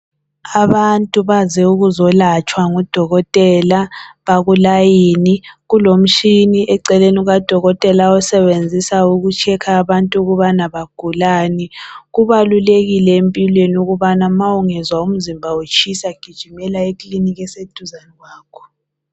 Abantu baze ukuzolatshwa ngudokotela bakulayini. Kulomshini eceleni kukadokotela awusebenzisa uku checker abantu ukubana bagulani. Kubalulekile empilweni ukubana ma ungezwa umzimba utshisa gijimela ekliniki eseduzane kwakho.